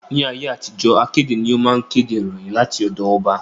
Ní ayé àtijó, akéde ni ó máa ń kéde ìròyìn láti ọ̀dọ ọba